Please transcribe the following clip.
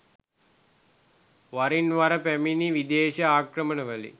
වරින් වර පැමිණි විදේශ ආක්‍රමණවලින්